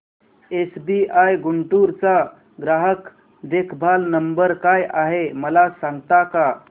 SBI Guntur चा ग्राहक देखभाल नंबर काय आहे मला सांगता का